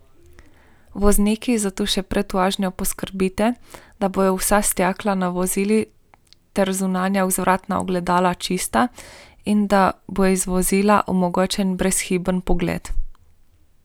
Vozniki zato še pred vožnjo poskrbite, da bodo vsa stekla na vozilu ter zunanja vzvratna ogledala čista in da bo iz vozila omogočen brezhiben pogled.